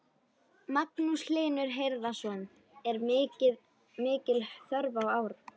Magnús Hlynur Hreiðarsson: Er mikil þörf í ár?